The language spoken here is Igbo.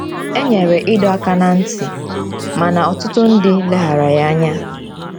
E nyere ịdọ aka ná ntị, mana ọtụtụ ndị leghaara ya anya.